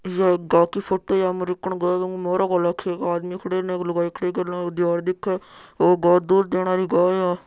ये एक गाय की फोटो है अमरीकन गाय है इक मोरो घाल रखयो है एक आदमी खड़यो है एक लुगाई खड़ी हैं कने एक दीवार दिखे आ गाय दूध देने री गाय है।